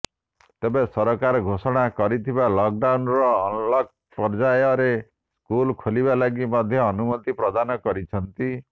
ତେବେ ସରକାର ଘୋଷଣା କରିଥିବା ଲକଡାଉନର ଅନଲକ ପର୍ଯ୍ୟାୟରେ ସ୍କୁଲ ଖୋଲିବା ଲାଗି ମଧ୍ୟ ଅନୁମତି ପ୍ରଦାନ କରିଛନ୍ତି